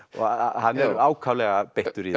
hann er ákaflega beittur í